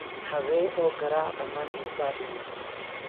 habee oo garaac dhammaan heesaha dheeman